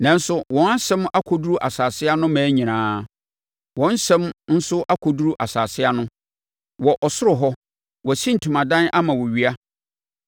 Nanso wɔn asɛm akɔduru asase so mmaa nyinaa, wɔn nsɛm nso akɔduru asase ano. Wɔ ɔsoro hɔ, wasi ntomadan ama owia,